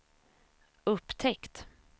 upptäckt